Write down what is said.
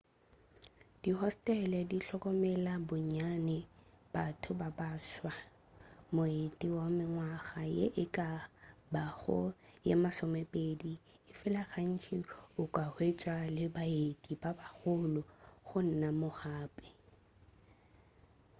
dihostele di hlokomela bonnyane batho ba baswa moeti wa mengwaga ye e ka bago ye masomepedi efela gantši o ka hwetša le baeti ba bagolo gona moo gape